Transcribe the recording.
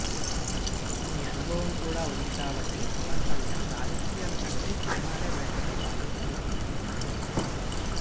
ఈ అనుభవం కూడా ఉంది కాబట్టి పవన్ కల్యాణ్ రాజకీయాల కంటే సినిమాలే బెటరని భావిస్తున్నట్టు తెలుస్తోంది